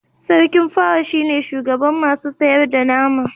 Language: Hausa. sarkin pawa shi ne shugaban masu sayar da nama